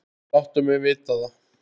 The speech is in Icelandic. Láttu mig vita það.